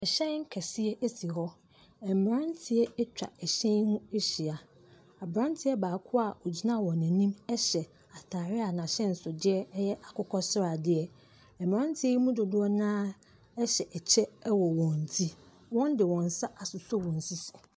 Ɛhyɛn kɛseɛ asi hɔ. Mmranteɛ atwa ɛhyɛn ho ahyia. Abranteɛ baako a ogyina wɔn anim ɛhyɛ ataare a n'ahyɛnso deɛ ɛyɛ akokɔsradeɛ. Mmrante yi mu dodoɔ na ɛhyɛ ɛkyɛ ɛwɔ wɔn ti. Wɔn di wɔn nsa asɔ wɔn sisi.